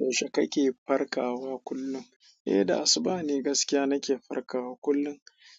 Yaushe kake farkawa kullum? Eh, da asuba ne gaskiya nake farkawa kullum.